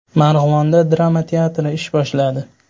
Marg‘ilonda drama teatri ish boshladi .